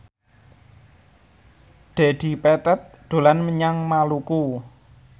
Dedi Petet dolan menyang Maluku